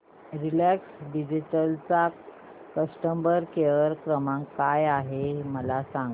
Reliance Digital चा customer care क्रमांक काय आहे मला सांगा